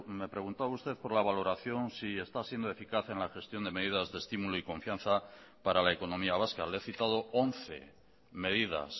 me preguntaba usted por la valoración si está siendo eficaz en la gestión de medidas de estímulo y confianza para la economía vasca le he citado once medidas